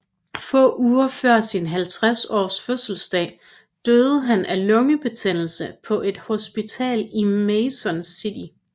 Få uger før sin 50 års fødselsdag døde han af lungebetændelse på et hospital i Mason City